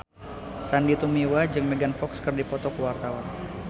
Sandy Tumiwa jeung Megan Fox keur dipoto ku wartawan